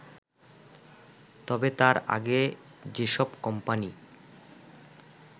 তবে তার আগে যেসব কোম্পানি